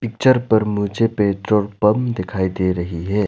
Picture पर मुझे petrol pump दिखाई दे रही है।